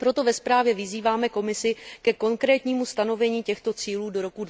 Proto ve zprávě vyzýváme Komisi ke konkrétnímu stanovení těchto cílů do roku